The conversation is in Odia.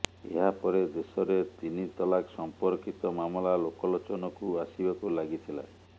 ଏହା ପରେ ଦେଶରେ ତିନ ତଲାକ ସମ୍ପର୍କୀତ ମାମଲା ଲୋକଲୋଚନକୁ ଆସିବାକୁ ଲାଗିଥିଲା